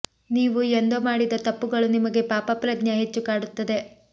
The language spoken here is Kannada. ನೀವು ಎಂದೋ ಮಾಡಿದ ತಪ್ಪುಗಳು ನಿಮಗೆ ಪಾಪ ಪ್ರಜ್ಞೆ ಹೆಚ್ಚು ಕಾಡುತ್ತದೆ